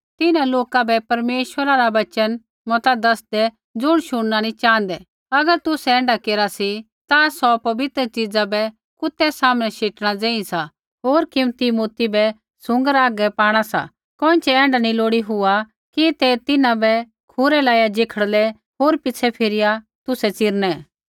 तिन्हां लोका बै परमेश्वरा रा वचन मता दसदै ज़ो शुणना नी च़ाँहदै अगर तुसै ऐण्ढै केरा सी ता सौ पवित्र च़ीज़ा बै कुतै सामनै शेटणा ज़ेही सा होर कीमती मोती बै सूँगरा हागै पाणा सा कोइँछ़ै ऐण्ढा नी लोड़ी हुआ कि ते तिन्हां बै खूरै लाइया जखड़लै होर पिछ़ै फिरिया तुसै चिरनै